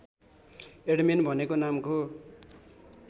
admin भनेको नामको